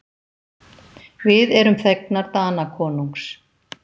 Við erum þegnar Danakonungs.